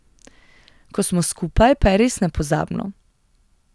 Ko smo skupaj pa je res nepozabno.